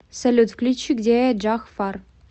салют включи где я джах фар